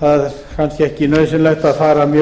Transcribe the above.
það er kannski ekki nauðsynlegt að fara í